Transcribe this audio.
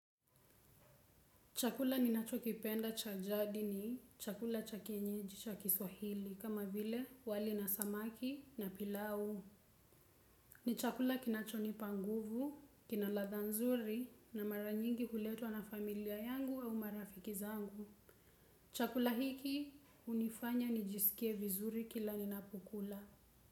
Chakula ninachokipenda cha jadini, chakula cha kienyeji, cha kiswahili, kama vile wali na samaki na pilau. Ni chakula kinachonipa nguvu kina ladha nzuri na mara nyingi huletwa na familia yangu au marafiki zangu. Chakula hiki hunifanya nijisikie vizuri kila ninapokula.